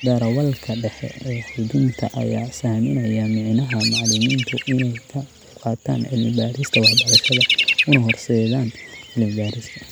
Darawalka dhexe ee xuddunta ayaa sahaminaya micnaha macalimiintu inay ka qaybqaataan cilmi baarista waxbarashada, una horseedaan cilmi baarista